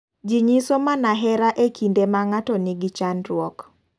Ji nyiso mana hera e kinde ma ng'ato ni gi chandruok.